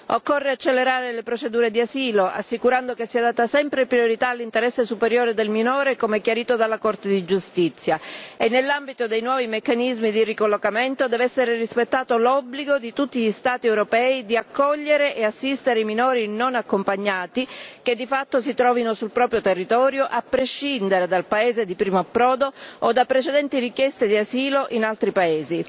Occorre accelerare le procedure di asilo, assicurando che sia data sempre priorità all'interesse superiore del minore, come chiarito dalla Corte di giustizia e nell'ambito dei nuovi meccanismi di ricollocamento deve essere rispettato l'obbligo di tutti gli Stati europei di accogliere e assistere i minori non accompagnati, che di fatto si trovino sul proprio territorio, a prescindere dal paese di primo approdo o da precedenti richieste di asilo in altri paesi.